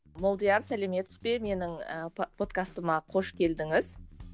молдияр сәлеметсіз бе менің ііі подкастыма қош келдіңіз